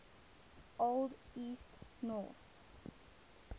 old east norse